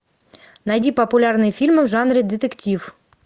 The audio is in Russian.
найди популярные фильмы в жанре детектив